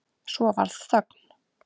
Svo varð þögn.